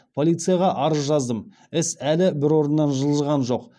полицияға арыз жаздым іс әлі бір орыннан жылжыған жоқ